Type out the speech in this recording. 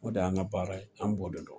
O de y'an ka baara ye an b'o de dɔn.